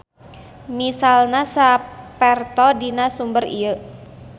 Misalna saperto dina sumber ieu.